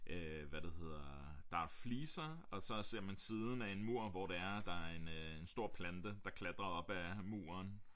Øh hvad det hedder der er fliser og så ser man siden af en mur hvor det er der er en øh en stor plante der klatrer op ad muren